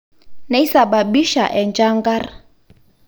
neisababisha enchankar